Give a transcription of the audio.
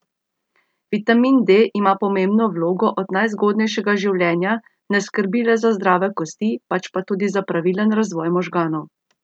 Vitamin D ima pomembno vlogo od najzgodnejšega življenja, ne skrbi le za zdrave kosti, pač pa tudi za pravilen razvoj možganov.